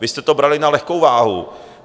Vy jste to brali na lehkou váhu.